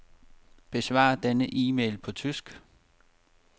Besvar denne e-mail på tysk.